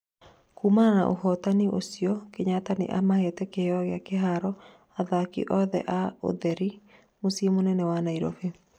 kumana na ũhotani ũcio, Kenyatta nĩamahete kĩheo gĩa kĩharo athaki othe a ũtheri mũciĩ mũnene wa Nairobi